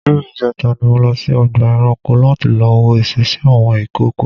ní ìjẹta ni mo lọ sí ọgbà eranko lati lọ wo ìsesí àwọn ìkookò.